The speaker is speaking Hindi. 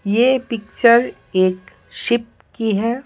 ये पिक्चर एक शिप की है।